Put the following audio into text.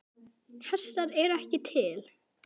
Hestar eru ekki til.